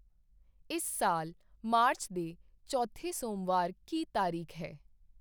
ਇਸ ਸਾਲ ਮਾਰਚ ਦੇ ਚੌਥੇ ਸੋਮਵਾਰ ਕੀ ਤਾਰੀਕ ਹੈ?